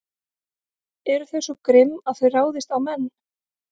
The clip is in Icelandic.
Eru þau svo grimm að þau ráðist á menn?